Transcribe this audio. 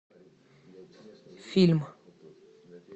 фильм